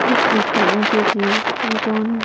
एक पीछे ईंटे की मकान।